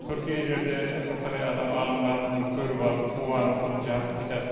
түркиелерде бірталай адам ғалымдар мұны көріп алып қуанып бұл жақсы кітап